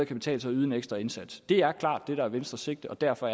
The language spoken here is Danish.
betale sig at yde en ekstra indsats det er klart det der er venstres sigte og derfor